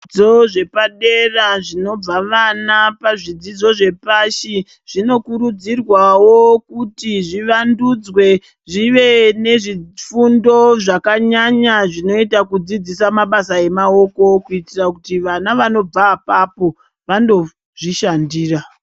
Zvidzidzo zvepadera zvinobva vana pazvidzidzo zvepashi zvinokurudzirwawo kuti zvivandudzwe zvive nezvifundo zvakanyanya zvinoita kudzidzisa mabasa emaoko kuitira kuti vana vanobva apapo vandozvishandira.